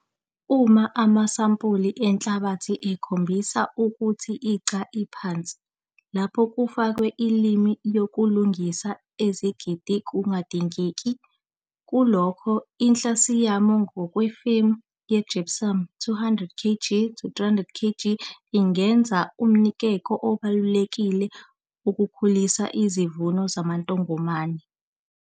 Uma amasampuli enhlabathi ekhombisa ukuthi i-Ca iphansi, lapho kufakwa i-lime yokulungisa i-esidi kungadingeki, kulokho, ikhlasiyamu ngokwefomu ye-gypsum, i-200 kg to 300 kg, ingenza umnikeko obalulekile ukukhulisa isivuno samantongomane.